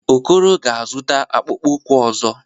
Okoro ga-azụta akpụkpọ ụkwụ ọzọ.